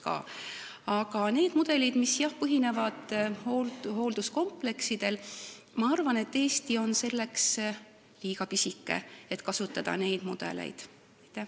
Aga mis puudutab neid mudeleid, mis põhinevad hoolduskompleksidel, siis ma arvan, et Eesti on selleks liiga pisike, et neid mudeleid kasutada.